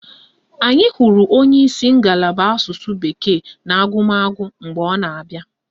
Anyị hụrụ onyeisi ngalaba Asụsụ bekee na agụmagụ mgbe ọ na-abịa